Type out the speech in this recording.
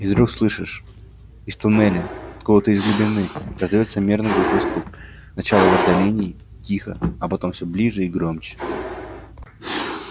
и вдруг слышишь из туннеля откуда-то из глубины раздаётся мерный глухой стук сначала в отдалении тихо а потом всё ближе и громче